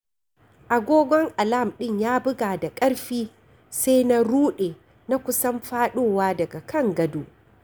Agogon alam ɗin ya buga da ƙarfi, sai na rude na kusan faɗowa daga kan gado.